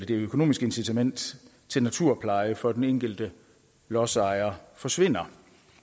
økonomiske incitament til naturpleje for den enkelte lodsejer forsvinder